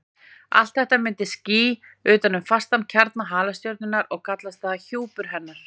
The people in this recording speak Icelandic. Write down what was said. Allt þetta myndar ský utan um fastan kjarna halastjörnunnar og kallast það hjúpur hennar.